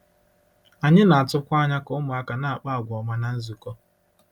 Anyị na-atụkwa anya ka ụmụaka na-akpa àgwà ọma ná nzukọ.